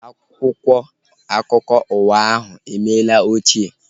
Akwụkwọ akụkọ ụwa ahu emela ochie